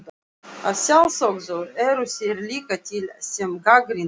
Að sjálfsögðu eru þeir líka til sem gagnrýna hana.